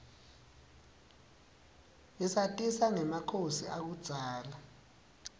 isatisa rgemakhosi akubdzala